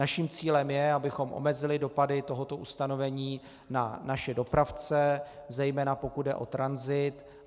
Naším cílem je, abychom omezili dopady tohoto ustanovení na naše dopravce, zejména pokud jde o tranzit.